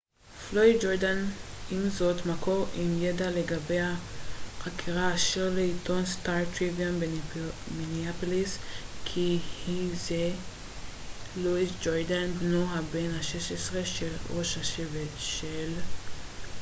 עם זאת מקור עם ידע לגבי החקירה אמר לעיתון סטאר-טריביון במיניאפוליס כי היה זה לואיס ג'ורדיין בנו בן ה-16 של ראש השבט של red lake פלויד ג'ורדיין